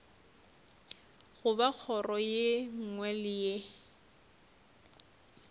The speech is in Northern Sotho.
goba kgoro ye nngwe le